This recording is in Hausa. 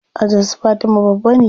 Ajin su fatima babba ne.